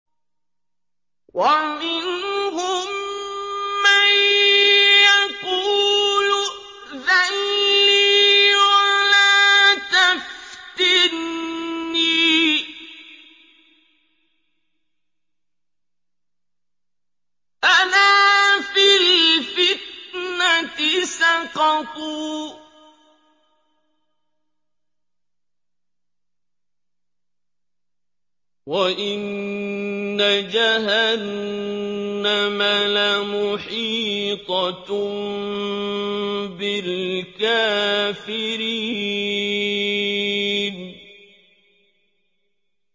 وَمِنْهُم مَّن يَقُولُ ائْذَن لِّي وَلَا تَفْتِنِّي ۚ أَلَا فِي الْفِتْنَةِ سَقَطُوا ۗ وَإِنَّ جَهَنَّمَ لَمُحِيطَةٌ بِالْكَافِرِينَ